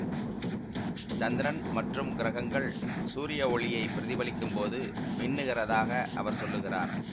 சந்திரன் மற்றும் கிரகங்கள் சூரிய ஒளியை பிரதிபலிக்கும் போது மின்னுகிறதாக அவர் சொல்லுகிறார்